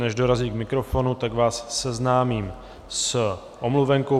Než dorazí k mikrofonu, tak vás seznámím s omluvenkou.